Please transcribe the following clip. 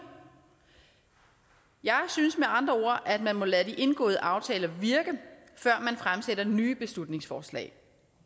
jeg synes med andre ord at man må lade de indgåede aftaler virke før man fremsætter nye beslutningsforslag